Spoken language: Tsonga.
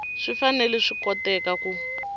swi fanele swi koteka ku